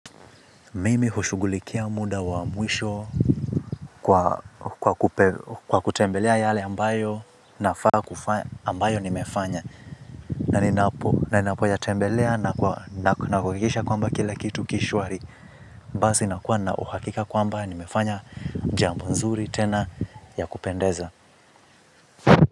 Mimi hushughulikia muda wa mwisho kwa kwa kutembelea yale ambayo nafaa kufanya ambayo nimefanya. Na ninapoyatembelea na kuhakikisha kwamba kila kitu ki shwari. Basi nakuwa na uhakika kwamba nimefanya jambo nzuri tena ya kupendeza.